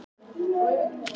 Eins og skot!